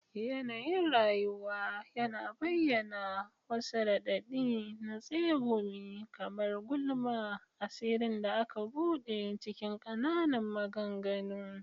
Yanayin rayuwa yana bayyana, wasu raɗaɗi na tsegumi kamar gulma, asirin da aka bude cikin ƙananan maganganu.